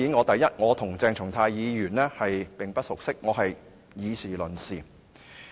當然，我和鄭松泰議員並不熟悉，我是以事論事。